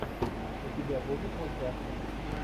у тебя будет мультяшка